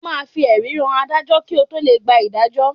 O máa fi ẹ̀rí hàn Adájọ́ kí o tó lè gba ìdájọ́.